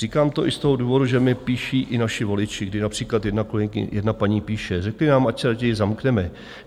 Říkám to i z toho důvodu, že mi píší i naši voliči, kdy například jedna paní píše: "Řekli nám, ať se raději zamkneme.